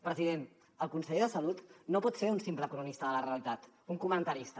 president el conseller de salut no pot ser un simple cronista de la realitat un comentarista